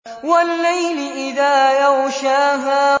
وَاللَّيْلِ إِذَا يَغْشَاهَا